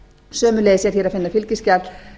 sömuleiðis er hér að finna fylgiskjal